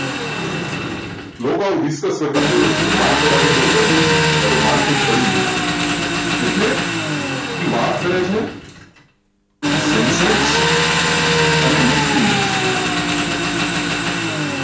લોકો ને research કરતાં જોયા છે કે market આજે બહુ વધી ગયું કે market પડી ગયું એટલે એ વાત કરે છે census અને nifty ની